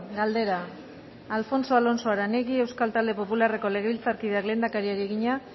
galdera alfonso alonso aranegui euskal talde popularreko legebiltzarkideak lehendakariari egina